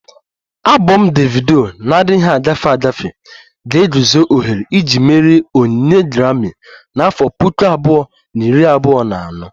Abom Davido na-adịghị agafe agafe ga-eguzo ohere iji merie onyinye Grami na afo Puku abụọ na iri abụọ na anọ